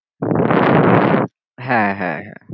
হ্যাঁ হ্যাঁ হ্যাঁ